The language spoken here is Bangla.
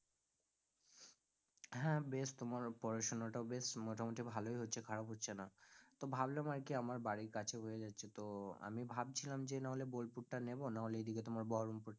হ্যাঁ বেশ তোমারও পড়াশোনা টাও বেশ মোটামুটি ভালোই হচ্ছে খারাপ হচ্ছে না, তো ভাবলাম আরকি আমার বাড়ির কাছে হয়ে যাচ্ছে তো আমি ভাবছিলাম যে নাহলে বোলপুর টা নেব নাহলে এদিকে তোমার বহরমপুর টা